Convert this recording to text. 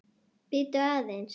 Bíddu aðeins